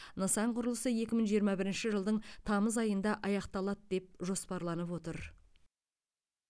нысан құрылысы екі мың жиырма бірінші жылдың тамыз айында аяқталады деп жоспарланып отыр